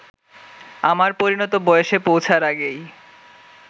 আর পরিণত বয়সে পৌছার আগেই